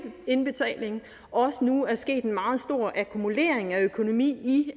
indbetalingen at også nu er sket en meget stor akkumulering af økonomien i